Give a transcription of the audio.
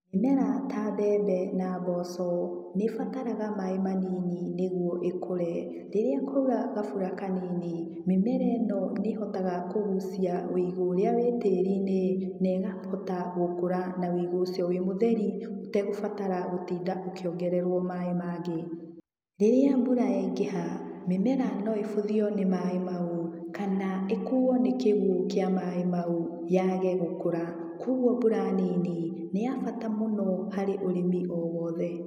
Mĩmera ta mbembe na mboco, nĩbataraga maĩ manini nĩguo ĩkũre, rĩrĩa kwaura gabura kanini, mĩmera ĩno nĩhotaga kũgucia ũigũ ũrĩa wĩ tĩri-inĩ, na ĩkahota gũkũra na ũigũ ũcio wĩ mũtheri ũtegũbatara gũtinda ũkĩongererwo maĩ mangĩ. Rĩrĩa mbura yaingĩha, mĩmera no ĩbuthio nĩ maĩ mau, kana ĩkuo nĩ kĩguũ kĩa maĩ mau yage gũkũra. Koguo mbura nini nĩ ya bata harĩ mũno harĩ ũrĩmi o wothe.